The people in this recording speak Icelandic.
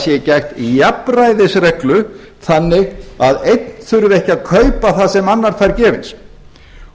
sé gætt jafnræðisreglu þannig að einn þurfi ekki að kaupa það sem annar fær gefins